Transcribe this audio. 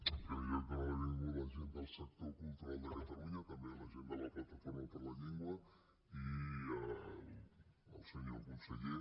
en primer lloc donar la benvinguda a la gent del sector cultural de catalunya també a la gent de la plataforma per la llengua i al senyor conseller